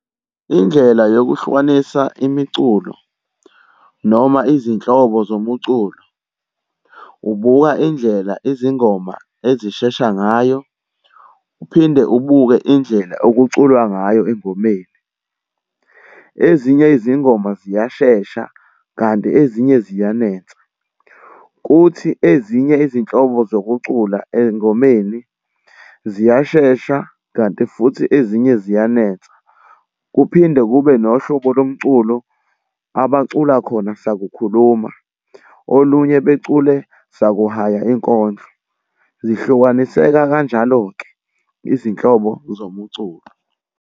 Indlela yokuhlukanisa imiculo noma izinhlobo zomuculo. Ubuka indlela izingoma ezishesha ngayo, uphinde ubuke indlela okuculwa ngayo engomeni. Ezinye izingoma ziyashesha kanti ezinye ziyanensa. Kuthi ezinye izinhlobo zokucula ey'ngomeni ziyashesha kanti futhi ezinye ziyanensa. Kuphinde kube nohlobo lomculo abacula khona sakukhuluma, olunye becule sakuhaya inkondlo. Zihlukaniseka, kanjalo-ke izinhlobo zomuculo.